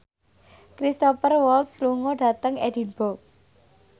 Cristhoper Waltz lunga dhateng Edinburgh